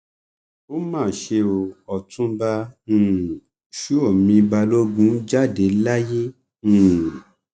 ó mà ṣe o ọtúnba um ṣuomi balógun jáde láyé um